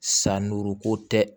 San duuru ko tɛ